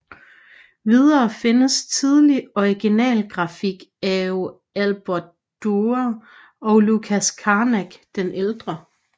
Videre findes tidlig originalgrafik av Albrecht Dürer og Lucas Cranac den ældre